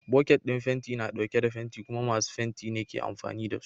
Boket ɗin fenti na ɗauke da fenti kuma masu fenti ne ke amfani da su.